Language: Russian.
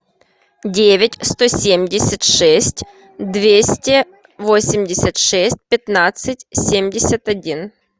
девять сто семьдесят шесть двести восемьдесят шесть пятнадцать семьдесят один